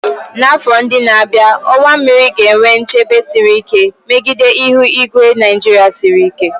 N'afọ ndị na-abịa, ọwa mmiri ga-enwe nchebe siri ike megide ihu igwe Nigeria siri ike.